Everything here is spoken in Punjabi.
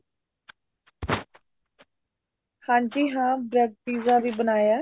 ਹਾਂਜੀ ਹਾਂ bread pizza ਵੀ ਬਣਾਇਆ